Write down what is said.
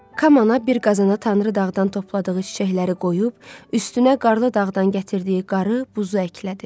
Kamana bir qazana Tanrı dağdan topladığı çiçəkləri qoyub, üstünə qarlı dağdan gətirdiyi qarı, buzu əklədi.